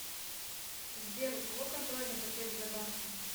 сбер у кого контрольный пакет сбербанка